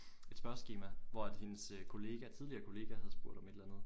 Et spørgeskema hvor at hendes kollega tidligere kollega havde spurgt om et eller andet